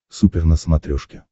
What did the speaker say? супер на смотрешке